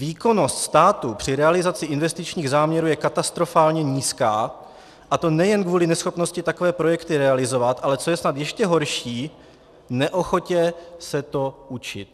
Výkonnost státu při realizaci investičních záměrů je katastrofálně nízká, a to nejen kvůli neschopnosti takové projekty realizovat, ale co je snad ještě horší, neochotě se to učit.